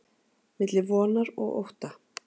milli vonar og ótta